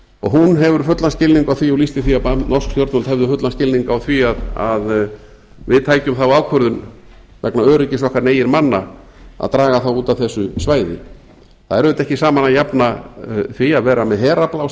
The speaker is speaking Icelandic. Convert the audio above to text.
og hún hefur fullan skilning á því og lýsti því að norsk stjórnvöld hefðu fullan skilning á því að við tækjum þá ákvörðun vegna öryggis okkar eigin manna að draga þá út af þessu svæði það er auðvitað ekki saman að jafna því að vera með herafla á